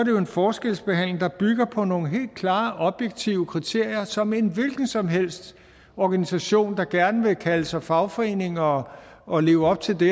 jo en forskelsbehandling der bygger på nogle helt klare objektive kriterier som en hvilken som helst organisation der gerne vil kalde sig fagforening og og leve op til det